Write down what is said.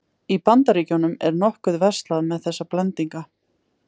Í Bandaríkjunum er nokkuð verslað með þessa blendinga.